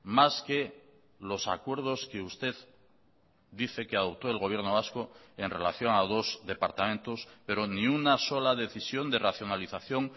más que los acuerdos que usted dice que adoptó el gobierno vasco en relación a dos departamentos pero ni una sola decisión de racionalización